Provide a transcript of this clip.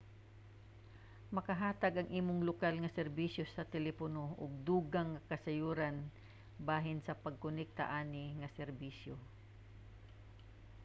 makahatag ang imong lokal nga serbisyo sa telepono og dugang nga kasayuran bahin sa pagkonekta ani nga serbisyo